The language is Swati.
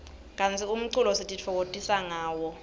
kantsi umculo sitifokotisa ngawo